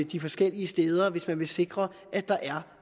de forskellige steder hvis man vil sikre at der er